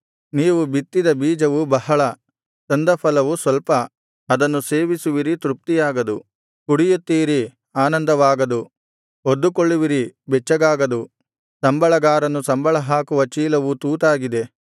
ನೀವು ಬಿತ್ತಿದ ಬೀಜವು ಬಹಳ ತಂದ ಫಲವು ಸ್ವಲ್ಪ ಅದನ್ನು ಸೇವಿಸುವಿರಿ ತೃಪ್ತಿಯಾಗದು ಕುಡಿಯುತ್ತೀರಿ ಆನಂದವಾಗದು ಹೊದ್ದುಕೊಳ್ಳುವಿರಿ ಬೆಚ್ಚಗಾಗದು ಸಂಬಳಗಾರನು ಸಂಬಳಹಾಕುವ ಚೀಲವು ತೂತಾಗಿದೆ